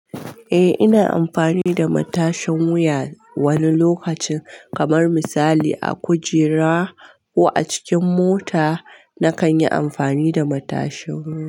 Eh, ina amfani da matashin wuya wani lokacin, kamar misali a kujera ko a cikin mota, na kan yi amfani da matashin wuya.